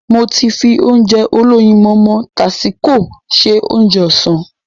Mo ti fi Ounjẹ olóyinmọmọ tásíko se Ounjẹ ọ̀sán